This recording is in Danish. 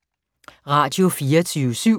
Radio24syv